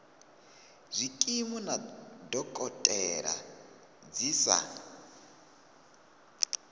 zwikimu na dokotela dzi sa